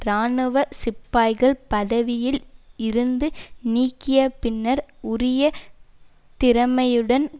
இராணுவ சிப்பாய்கள் பதவியில் இருந்து நீங்கிய பின்னர் உரிய திறமையுடன்